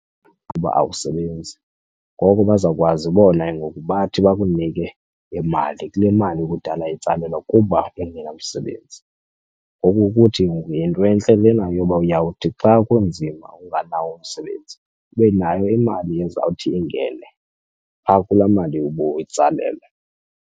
Ukuba awusebenzi ngoko bazawukwazi bona ke ngoku bathi bakunike imali kule mali okudala itsalelwa kuba ungenamsebenzi. Ngoku uthi futhi ngoku yinto entle lena yoba uyawuthi xa kunzima unganawo umsebenzi ube nayo imali ezawuthi ingene pha kulaa mali ubuyitsalelwa.